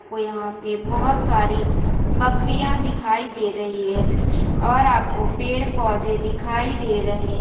ओ यहाँ पे बहुत सारी बकरियाँ दिखाई दे रही हैं और आपको पेड़ पौधे दिखाई दे रहे हैं।